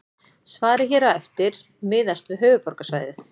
Svarið hér á eftir miðast við höfuðborgarsvæðið.